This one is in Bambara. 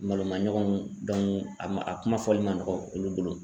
Malo ma ɲɔgɔnw a ma a kuma fɔli man nɔgɔ olu bolo.